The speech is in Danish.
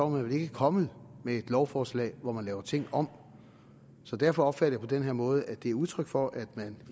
man vel ikke kommet med et lovforslag hvor man laver ting om så derfor opfatter på den måde at det er udtryk for at man